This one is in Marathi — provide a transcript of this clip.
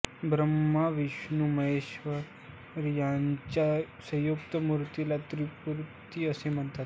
ब्रह्मा विष्णूमहेश यांच्या संयुक्त मूर्तीला त्रिमूर्ती असे म्हणतात